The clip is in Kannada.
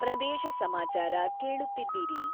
ಪ್ರದೇಶ ಸಮಾಚಾರ ಕೇಳುತ್ತಿದ್ದೀರಿ...